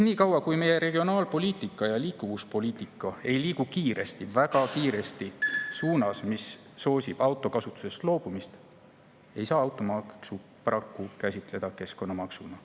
Nii kaua, kui meie regionaalpoliitika ja liikuvuspoliitika ei liigu kiiresti, väga kiiresti suunas, mis soosib autokasutusest loobumist, ei saa automaksu paraku käsitleda keskkonnamaksuna.